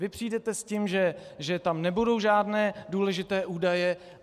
Vy přijdete s tím, že tam nebudou žádné důležité údaje.